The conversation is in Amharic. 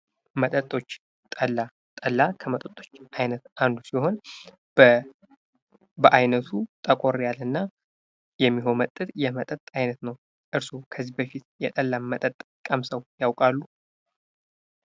መጠጦች ፦ ጠላ፦ ጠላ ከመጠጦች አይነት አንዱ ሲሆን በአይነቱ ጥቆር ያለ እና የሚቆመጥጥ የመጠጥ አይነት ነው ። እርስዋ ከዚህ በፊት የጠላ መጠጥ ቀምሰው ያውቃሉ ?